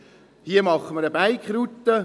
Hier machen wir eine Bike-Route.